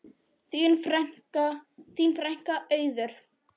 Þín frænka, Auður.